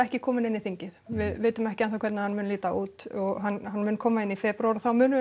ekki kominn inn í þingið við vitum ekki enn þá hvernig hann mun líta út hann mun koma inn í febrúar og þá munum